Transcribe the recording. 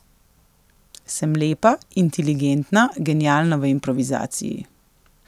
Sem lepa, inteligentna, genialna v improvizaciji.